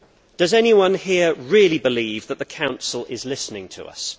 Does anyone here really believe that the Council is listening to us?